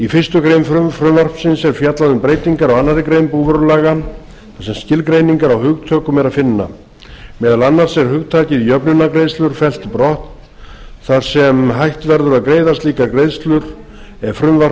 í fyrstu grein frumvarpsins er fjallað um breytingar á annarri grein búvörulaga þar sem skilgreiningar á hugtökum er að finna meðal annars er hugtakið jöfnunargreiðslur fellt brott þar sem hætt verður að greiða slíkar greiðslur ef frumvarp